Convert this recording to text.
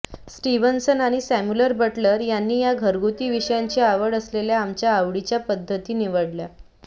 Stevenson आणि Samuel Butler यांनी या घरगुती विषयांची आवड असलेल्या आमच्या आवडीच्या विविध पद्धती निवडल्या